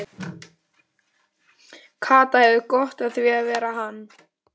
Kata hefur gott af því að vera hann.